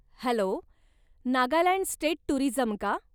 Hello! Nagaland state tourism का?